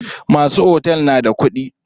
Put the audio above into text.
Masu otel na da kuɗi.